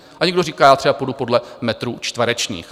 A někdo říká: Já třeba půjdu podle metrů čtverečních.